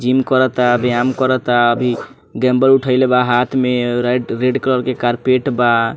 Gym करता व्यायाम करता अभी डम्बल उठएला बा हाथ में रेड कलर के कारपेट बा।